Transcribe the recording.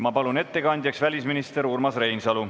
Ma palun ettekandjaks välisminister Urmas Reinsalu.